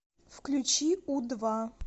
включи у два